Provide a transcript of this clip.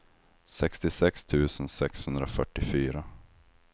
sextiosex tusen sexhundrafyrtiofyra